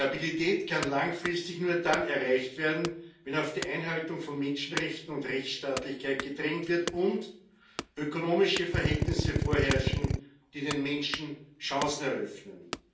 Stabilität kann langfristig nur dann erreicht werden, wenn auf die Einhaltung von Menschenrechten und Rechtsstaatlichkeit gedrängt wird und ökonomische Verhältnisse vorherrschen, die den Menschen Chancen eröffnen.